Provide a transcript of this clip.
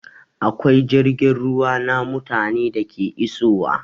Akwai jirgin ruwa na mutane da ke isowa